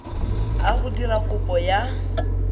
a go dira kopo ya